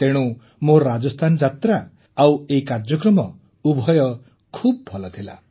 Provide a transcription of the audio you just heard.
ତେଣୁ ମୋର ରାଜସ୍ଥାନ ଯାତ୍ରା ଆଉ ଏହି କାର୍ଯ୍ୟକ୍ରମ ଉଭୟ ଖୁବ ଭଲ ଥିଲା